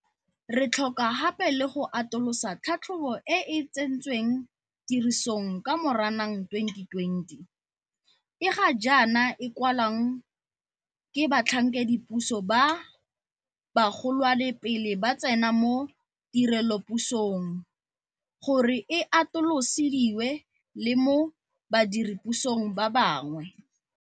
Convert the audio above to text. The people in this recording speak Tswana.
Re tlhoka gape le go atolosa tlhatlhobo e e tsentsweng tirisong ka Moranang 2020, e ga jaana e kwalwang ke batlhankedipuso ba bagolwane pele ba tsena mo tirelopusong, gore e atolosediwe le mo badire pusong ba bangwe.